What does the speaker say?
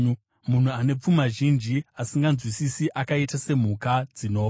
Munhu ane pfuma zhinji asinganzwisisi akaita semhuka dzinofa.